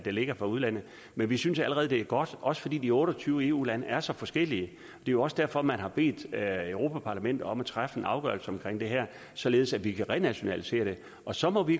ligger fra udlandet men vi synes allerede det er godt også fordi de otte og tyve eu lande er så forskellige jo også derfor man har bedt europa parlamentet om at træffe en afgørelse om det her således at vi kan renationalisere det og så må vi